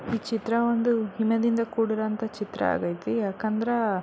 ಈ ಚಿತ್ರ ಒಂದು ಹಿಮದಿಂದ ಕುಡಿರೋ ಅಂತ ಚಿತ್ರ ಆಗೈತಿ ಯಾಕಂದ್ರ --